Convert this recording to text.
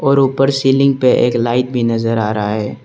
और ऊपर सीलिंग पे एक लाइट भी नजर आ रहा है।